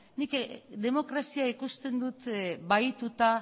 nik demokrazia ikusten dut bahituta